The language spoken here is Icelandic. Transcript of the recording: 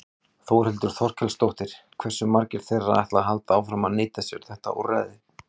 Þórhildur Þorkelsdóttir: Hversu margir þeirra ætla að halda áfram að nýta sér þetta úrræði?